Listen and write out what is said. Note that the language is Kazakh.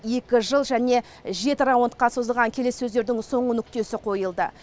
екі жыл және жеті раундқа созылған келіссөздердің соңғы нүктесі қойылды